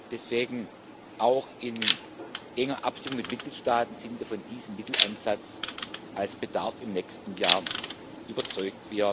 Deswegen, auch in enger Abstimmung mit den Mitgliedstaaten, sind wir von diesem Mitteleinsatz als Bedarf im nächsten Jahr überzeugt.